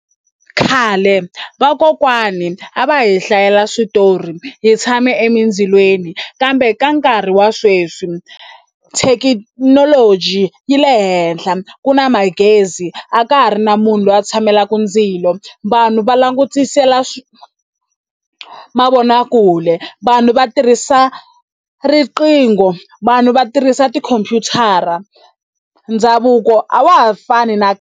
Khale vakokwani a va hi hlayela switori hi tshame emindzilweni kambe ka nkarhi wa sweswi thekinoloji yi le henhla ku na magezi a ka ha ri na munhu loyi a tshamelaka ndzilo vanhu va langutisela swi mavonakule vanhu va tirhisa riqingho vanhu va tirhisa tikhompyutara ndhavuko a wa ha fani na.